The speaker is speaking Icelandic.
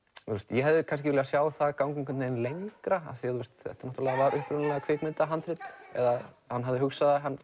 ég hefði kannski viljað sjá það ganga lengra af því þetta var upprunalega kvikmyndahandrit eða hann hafði hugsað það